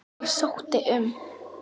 Ég sótti um.